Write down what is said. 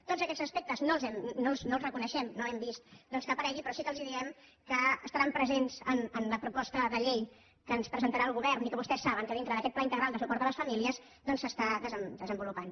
tots aquests aspectes no els reconeixem no hem vist que hi apareguin però sí que els diem que estaran pre·sents en la proposta de llei que ens presentarà el govern i que vostès saben que dintre d’aquest pla integral de suport a les famílies s’està desenvolupant